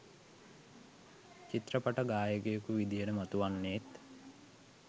චිත්‍රපට ගායකයකු විදිහට මතුවෙන්නෙත්